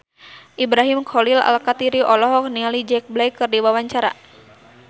Ibrahim Khalil Alkatiri olohok ningali Jack Black keur diwawancara